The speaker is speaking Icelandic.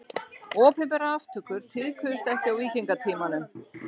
Opinberar aftökur tíðkuðust ekki á víkingatímanum.